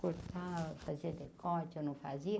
Cortava, fazia decote, ou não fazia.